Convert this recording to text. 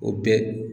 O bɛɛ